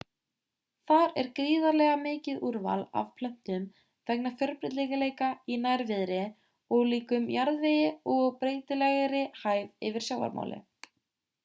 þar er gríðarlega mikið úrval af plöntum vegna fjölbreytileika í nærviðri ólíkum jarðvegi og breytilegri hæð yfir sjávarmáli